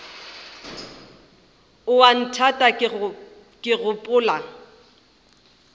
o a nthata ke gopola